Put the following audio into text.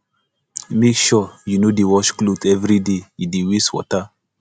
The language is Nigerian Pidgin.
make sure you no dey wash clothes everyday e dey waste water